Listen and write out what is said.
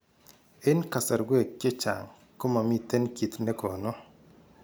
En kasarwek chechang komomiten kiitt negonu